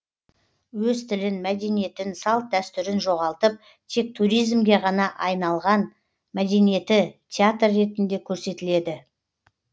өз тілін мәдениетін салт дәстүрін жоғалтып тек туризмге ғана айналған мәдениеті театр ретінде көрсетіледі